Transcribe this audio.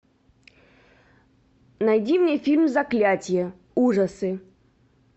найди мне фильм заклятие ужасы